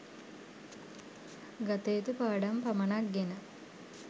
ගතයුතු පාඩම් පමණක් ගෙන